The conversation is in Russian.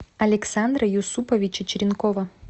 александра юсуповича черенкова